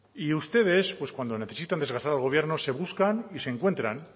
y ustedes cuando necesitan desgastar al gobierno se buscan y se encuentran